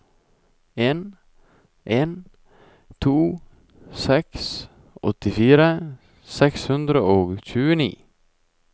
en en to seks åttifire seks hundre og tjueni